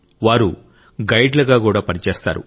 వారు గైడ్లుగా కూడా పనిచేస్తారు